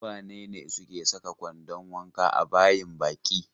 Su wane ne suke saka kwandon wanka a bayin baki?